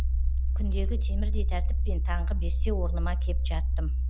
күндегі темірдей тәртіппен таңғы бесте орныма кеп жаттым